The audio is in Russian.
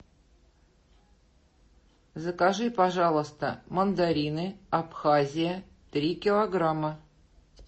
закажи пожалуйста мандарины абхазия три килограмма